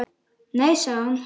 Nei sagði hann.